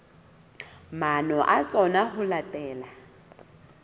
maano a tsona ho latela